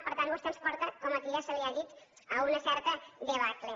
per tant vostè ens porta com aquí ja se li ha dit a una certa debacle